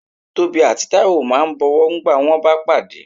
Tobí atí Taíwo ma bọ̀wọ́ ngbà wón ba padé